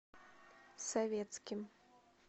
советским